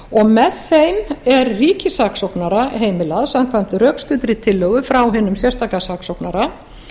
saksóknara með þeim er ríkissaksóknara heimilað samkvæmt rökstuddri tillögu frá hinum sérstaka saksóknara